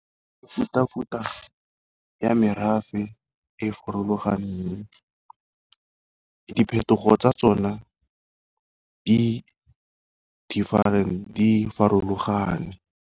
Mefuta-futa ya merafe e e farologaneng, diphetogo tsa tsone di farologane.